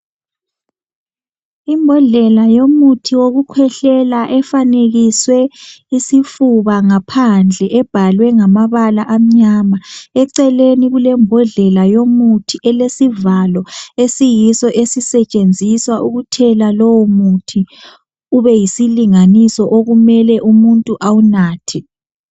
yimbodlela yomuthi wokukhwehlela efanekiswe isifuba ngaphandle ebhalwe ngabala amnyama eceleni kulembodlela yomuthi elesivalo esiyiso esisetshenziswa ukuthela lowo muthi ube yisilinganiso okumele umuntu awunathe